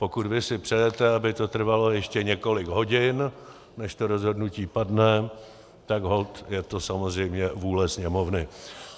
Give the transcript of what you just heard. Pokud vy si přejete, aby to trvalo ještě několik hodin, než to rozhodnutí padne, tak holt je to samozřejmě vůle Sněmovny.